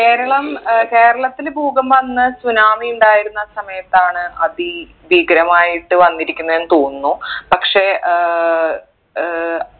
കേരളം ഏർ കേരളത്തില് ഭൂകമ്പം അന്ന് tsunami ഉണ്ടായിരുന്ന സമയത്താണ് അതി ഭീകരമായിട്ട് വന്നിരിക്കുന്നേന്ന് തോന്നുന്നു പക്ഷെ ഏർ ഏർ